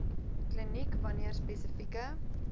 kliniek wanneer spesifieke